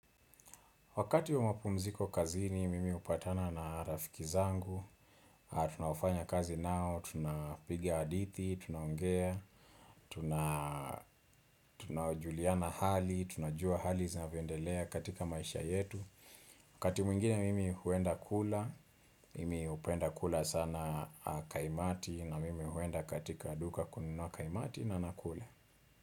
Wakati wa mapumziko kazini, mimi hupatana na rafiki zangu, tunaofanya kazi nao, tunapigia hadithi, tunaongea, tunajuliana hali, tunajua hali zinavyoendelea katika maisha yetu. Wakati mwingine mimi huenda kula, mimi hupenda kula sana kaimati na mimi huenda katika duka kununua kaimati na nakula.